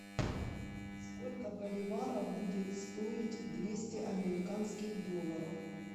сколько боливаров будет стоить двести американских долларов